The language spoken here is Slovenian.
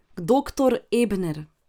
Doktor Ebner.